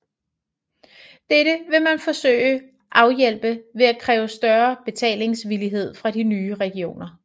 Dette vil man forsøge afhjælpe ved at kræve større betalingsvillighed fra de nye regioner